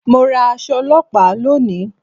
Mo ra aṣọ ọlọ́pàá lónìí